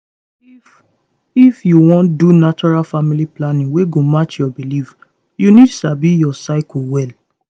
if if you wan do natural family planning wey go match your belief you need sabi your cycle well